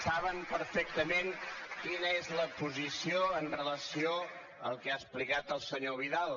saben perfectament quina és la posició amb relació al que ha explicat el senyor vidal